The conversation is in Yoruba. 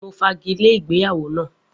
Mo fagile ìgbéyàwó na